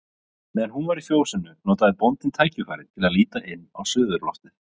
Meðan hún var í fjósinu notaði bóndinn tækifærið til að líta inn á suðurloftið.